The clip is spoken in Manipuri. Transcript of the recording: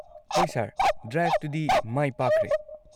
ꯍꯣꯏ ꯁꯔ, ꯗ꯭ꯔꯥꯏꯚꯇꯨꯗꯤ ꯃꯥꯏ ꯄꯥꯛꯈ꯭ꯔꯦ꯫